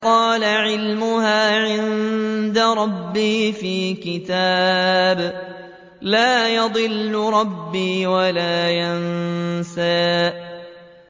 قَالَ عِلْمُهَا عِندَ رَبِّي فِي كِتَابٍ ۖ لَّا يَضِلُّ رَبِّي وَلَا يَنسَى